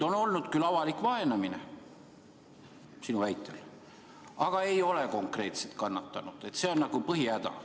On olnud küll avalikku vaenamist, sinu väitel, aga ei ole konkreetset kannatanut – see on nagu põhihäda.